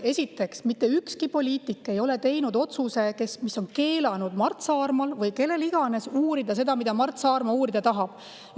Esiteks, mitte ükski poliitik ei ole teinud otsust, mis on keelanud Mart Saarmal uurida seda, mida Mart Saarma uurida tahab.